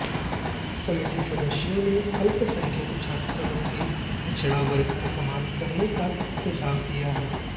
समिति सदस्यों ने अल्पसंख्यक छात्रवृत्ति पिछड़ा वर्ग के समान करने का भी सुझाव दिया